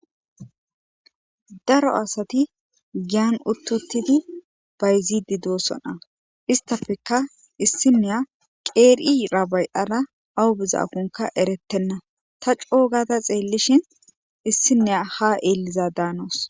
daro asati giyan uttuttidi bayzidi doossona istafeka issineya qeerii rabay7ara awu bizaakonka eretenna ta coogada xeellishin issineya ha eeliza daanoos